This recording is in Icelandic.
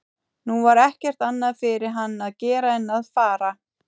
Nú var ekkert annað fyrir hann að gera en að fara.